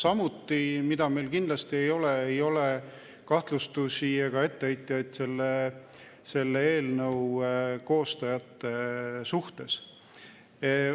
Aga mida meil samuti kindlasti ei ole: ei ole kahtlustusi ega etteheiteid selle eelnõu koostajate suhtes.